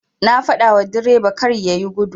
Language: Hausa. Na fadawa direba karya yi gudu.